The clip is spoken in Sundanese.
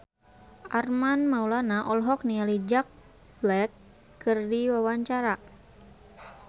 Armand Maulana olohok ningali Jack Black keur diwawancara